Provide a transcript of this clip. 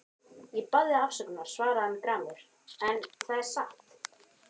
Ég bað þig afsökunar, svaraði hann gramur,-en það er satt.